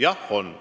Jah, on.